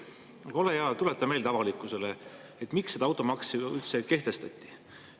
Aga ole hea ja tuleta avalikkusele meelde, miks automaks üldse kehtestati.